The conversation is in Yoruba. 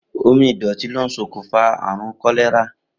Omi ìdò̩tí ló ń s̩okùnfà àrùn kó̩lé̩rà.